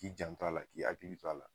K'i janto a la, k'i hakili to a la.